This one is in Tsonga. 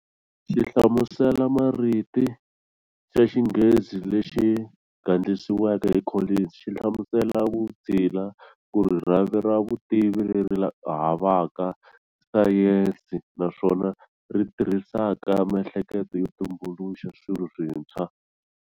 Xihlamusela mariti xa xinghezi lexi gandlisiweke hi Collins, xihlamusela 'vutshila' kuri"Rhavi ra vutivi leri havaka Sayensi, naswona ri tirhisaka mihleketo yo tumbuluxa swilo swintshwa.